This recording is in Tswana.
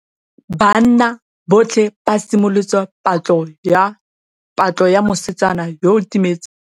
Banna botlhê ba simolotse patlô ya mosetsana yo o timetseng.